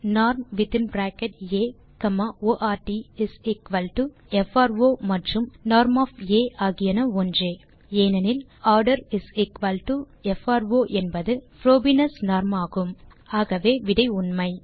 norm within bracket A comma ordin single quote fro மற்றும் norm ஆகியன ஒன்றே ஏனெனில் orderin சிங்கில் கோட் ப்ரோ என்பது புரோபீனியஸ் நார்ம் ஆகும் ஆகவே விடை உண்மை